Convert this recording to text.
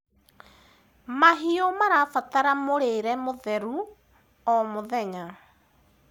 mahiũ marabatara mũrĩre mũtheru o mũthenya